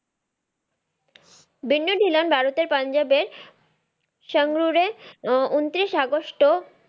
বিন্নু ধিল্লন ভারতের পাঞ্জাবে এর সংৰুৱে এ আহ উন্তিরিশ আগস্টও